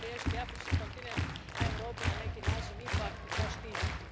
Treba riješiti afrički kontinent, a Europu, na neki način, ipak zaštititi.